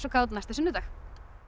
kát næsta sunnudag